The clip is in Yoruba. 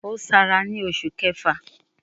Ó Sara ni oṣù kẹfà